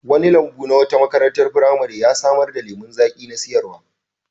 Wani lambu na wata makarantar firamare ya samar da lemon zaƙi na sayarwa.